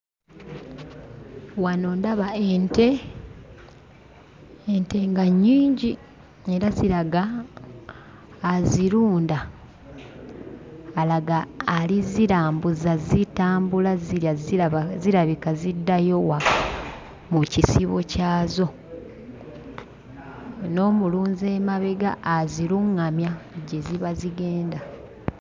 Wano ndaba ente. Ente nga nnyingi era ziraga azirunda alaga ali zzirambuza, zitambula zirya ziraba zirabika ziddayo waka mu kisibo kyazo, n'omulunzi emabega aziruŋŋamya gye ziba zigenda.